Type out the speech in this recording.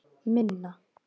Minna